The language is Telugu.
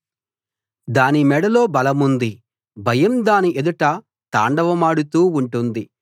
దాని మెడలో బలముంది భయం దాని ఎదుట తాండవమాడుతూ ఉంటుంది